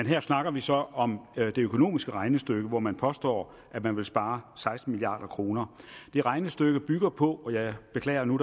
her snakker vi så om et økonomisk regnestykke hvor man påstår at man vil spare seksten milliard kroner det regnestykke bygger på og jeg beklager nu